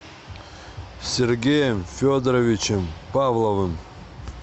сергеем федоровичем павловым